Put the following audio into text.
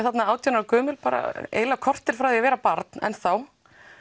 þarna átján ára gömul eiginlega korter frá því að vera barn enn þá